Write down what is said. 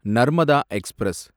Narmada express